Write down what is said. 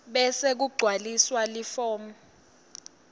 bese kugcwaliswa form